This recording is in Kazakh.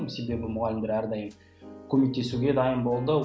себебі мұғалімдер әрдайым көмектесуге дайын болды